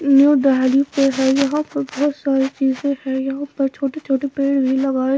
यहाँ पर बहुत सारी चीजें हैं यहां पर छोटे छोटे पेड़ भी लगाए --